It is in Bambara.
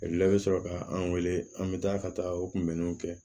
La i bɛ sɔrɔ ka an wele an bɛ taa ka taa o kunbɛnniw kɛ